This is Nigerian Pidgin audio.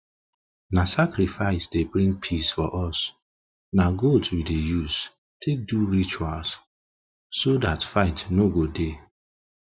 na sacrifice dey bring peace for us na goat we dey use take do rituals so dat fight no go dey